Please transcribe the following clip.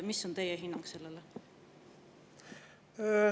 Mis on teie hinnang sellele?